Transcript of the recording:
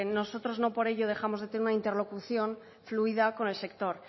nosotros no por ello dejamos de tener una interlocución fluida con el sector